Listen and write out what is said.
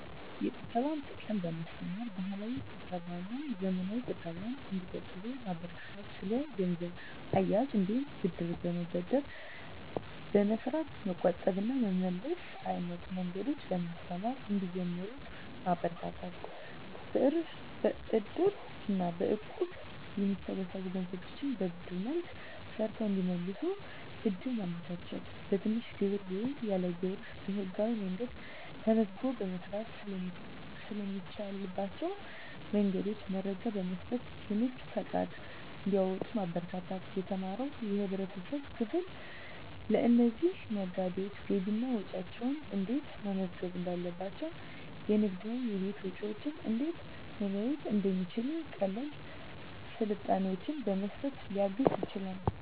የቁጠባን ጥቅም በማስተማር፣ ባህላዊ ቁጠባና ዘመናዊ ቁጠባን እንዲቆጥቡ ማበረታታት። ስለ ገንዘብ አያያዝ እንዲሁም ብድር በመበደር በመስራት መቆጠብ እና መመለስ አይነት መንገዶችን በማስተማር እንዲጀምሩት ማበረታታት። በእድር እና በእቁብ የሚሰበሰቡ ገንዘቦችን በብድር መልክ ሰርተው እንዲመልሱ እድል ማመቻቸት። በትንሽ ግብር ወይም ያለ ግብር በህጋዊ መንገድ ተመዝግቦ መስራት ስለሚቻልባቸው መንገዶች መረጃ በመስጠት የንግድ ፈቃድ እንዲያወጡ ማበረታታት። የተማረው የህብረተሰብ ክፍል ለእነዚህ ነጋዴዎች ገቢና ወጪያቸውን እንዴት መመዝገብ እንዳለባቸው፣ የንግድና የቤት ወጪን እንዴት መለየት እንደሚችሉ ቀላል ስልጠናዎችን በመስጠት ሊያግዝ ይችላል።